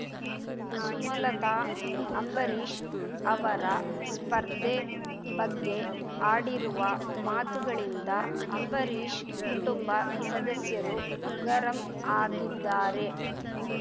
ಸುಮಲತಾ ಅಂಬರೀಷ್ ಅವರ ಸ್ಪರ್ಧೆ ಬಗ್ಗೆ ಆಡಿರುವ ಮಾತುಗಳಿಂದ ಅಂಬರೀಷ್ ಕುಟುಂಬ ಸದಸ್ಯರು ಗರಂ ಆಗಿದ್ದಾರೆ